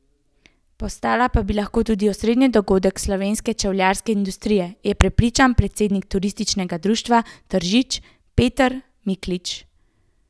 Postala pa bi lahko tudi osrednji dogodek slovenske čevljarske industrije, je prepričan predsednik Turističnega društva Tržič Peter Miklič.